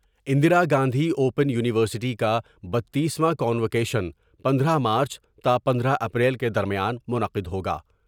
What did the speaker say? Indira Gandhi open university کا بتیس واں کا نوکیشن پندرہ مارچ تا پندرہ اپریل کے درمیان منعقد ہوگا ۔